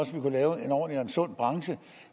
også kunne lave en ordentlig og sund branche